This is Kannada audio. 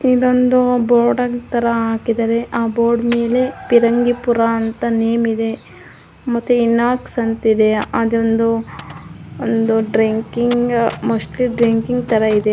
ಇದೊಂದು ಬೋರ್ಡ್ ತರ ಹಾಕಿದರೆ ಆ ಬೋರ್ಡ್ ಮೇಲೆ ಪಿರಂಗಿಪುರ ಅಂತ ನೇಮ್ ಇದೆ ಮತ್ತೆ ಇನೊಕ್ಸ್ ಅಂತ ಇದೆ. ಅದೊಂದು ತರ ಇದೆ.